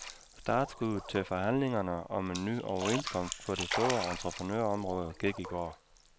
Startskuddet til forhandlingerne om en ny overenskomst på det store entreprenørområde gik i går.